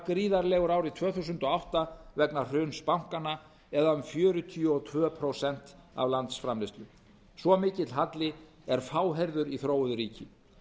gríðarlegur árið tvö þúsund og átta vegna hruns bankanna eða um fjörutíu og tvö prósent af landsframleiðslu svo mikil halli er fáheyrður í þróuðu ríki